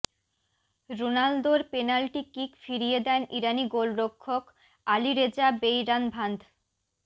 রোনালদোর penalty kick ফিরিয়ে দেন ইরানি গোলরক্ষক আলীরেজা বেইরানভান্দ